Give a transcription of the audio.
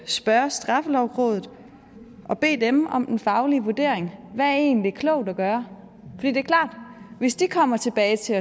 spørge straffelovrådet og bede dem om en faglig vurdering hvad er egentlig klogt at gøre det er klart at hvis de kommer tilbage til